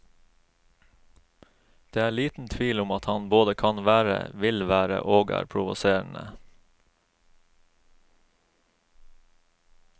Det er liten tvil om at han både kan være, vil være og er provoserende.